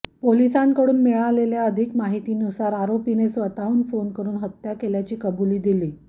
पोलिसांकडून मिळालेल्या अधिक माहितीनुसार आरोपीने स्वतःहून फोनकरुन हत्या केल्याची कबुली दिली